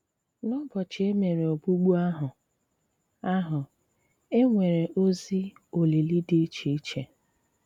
N'ụ̀bọchị e mèré ògbùgbù àhụ, àhụ, e nwere òzì olìlì dị iche iche.